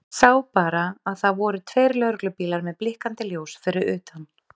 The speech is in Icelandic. Sá bara að það voru tveir lögreglubílar með blikkandi ljós fyrir utan.